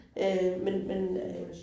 Øh men men øh